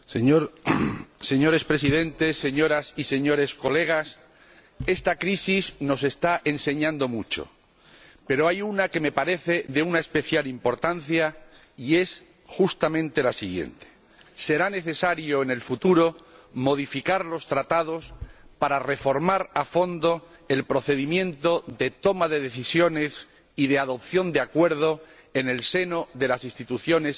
Señores Presidentes, Señorías, esta crisis nos está enseñando mucho, pero hay una lección que me parece de especial importancia, y es justamente la siguiente en el futuro será necesario modificar los Tratados para reformar a fondo el procedimiento de toma de decisiones y de adopción de acuerdos en el seno de las instituciones europeas.